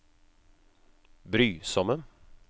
brysomme